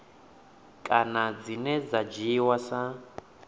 kana dzine dza dzhiiwa sa